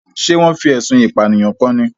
Ṣé wọn fi ẹ̀sùn ìpànìyàn kan ni?